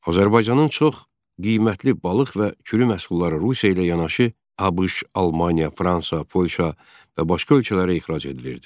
Azərbaycanın çox qiymətli balıq və kürüməhsulları Rusiya ilə yanaşı ABŞ, Almaniya, Fransa, Polşa və başqa ölkələrə ixrac edilirdi.